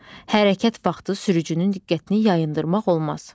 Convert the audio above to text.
Hərəkət vaxtı sürücünün diqqətini yayındırmaq olmaz.